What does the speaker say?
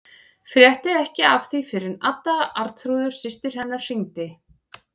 Frétti ekki af því fyrr en Adda, Arnþrúður systir hennar, hringdi.